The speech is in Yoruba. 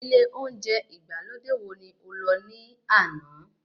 Ilé oúnjẹ ìgbàlódé wo ni o lọ ní àná?